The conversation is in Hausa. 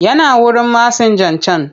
Yana wurin masinjan can.